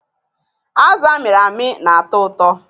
Azụ amịrị amị na-atọ ụtọ.